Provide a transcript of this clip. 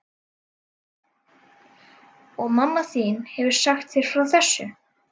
Og mamma þín hefur sagt þér frá þessu?